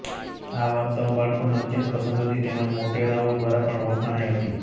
આ વાર્તાઓ બાળકોને અત્યંત પસંદ હતી તેમજ મોટેરાંઓ દ્વારા પણ વખાણાઈ હતી